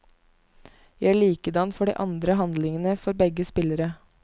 Gjør likedan for de andre handlingene for begge spillere.